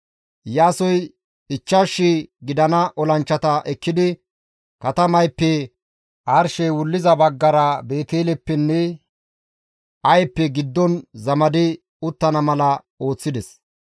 Iyaasoy 5,000 gidana olanchchata ekkidi katamayppe arshey wulliza baggara Beeteleppenne Ayeppe giddon zamadi uttana mala ooththides.